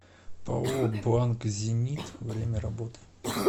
пао банк зенит время работы